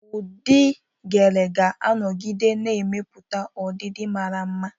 Ụdị Gele ga-anọgide na-emepụta ọdịdị mara mma.